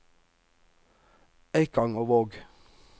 Eikangervåg